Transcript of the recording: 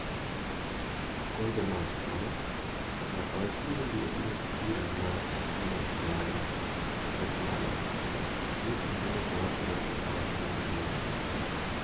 Conte nowacho kama: "Nyaka wachiw luor ne bura ma ne ong'adno, kata kamano, gie kindeni to wabiro tero wachni nyime".